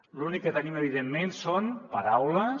l’únic que tenim evidentment són paraules